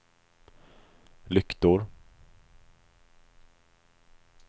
lyktor